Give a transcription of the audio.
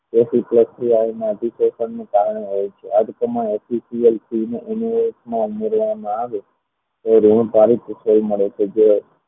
અધિકેશનને કારણે આ જ પ્રમાણમાં આવે તો ઋણ મળે છે જે